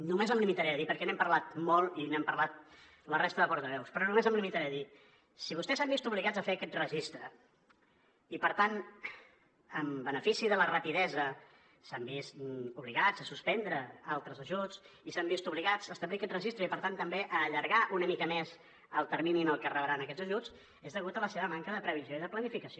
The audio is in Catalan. només em limitaré a dir perquè n’hem parlat molt i n’hem parlat la resta de portaveus si vostès s’han vist obligats a fer aquest registre i per tant en benefici de la rapidesa s’han vist obligats a suspendre altres ajuts i s’han vist obligats a establir aquest registre i per tant també a allargar una mica més el termini en què rebran aquests ajuts és degut a la seva manca de previsió i de planificació